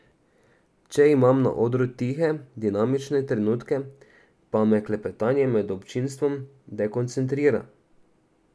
Če imam na odru tihe, dinamične trenutke, pa me klepetanje med občinstvom dekoncentrira.